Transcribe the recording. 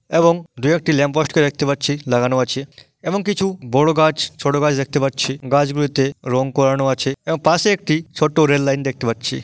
এবং দুই একটি ল্যাম্পপোস্টে -কে দেখতে পাচ্ছি লাগানো আছে এবং কিছু বড় গাছ ছোট গাছ দেখতে পাচ্ছি। গাছগুলোতে রং করানো আছে এবং পাশে একটি ছোট্ট রেল লাইন দেখতে পাচ্ছি।